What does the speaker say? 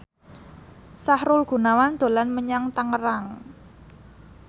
Sahrul Gunawan dolan menyang Tangerang